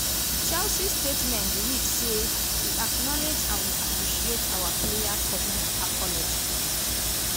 chelsea statement read say: "we acknowledge and we appreciate our player public apology